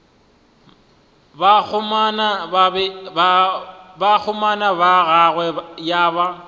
bakgomana ba gagwe ya ba